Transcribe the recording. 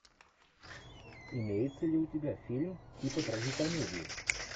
имеется ли у тебя фильм типа трагикомедии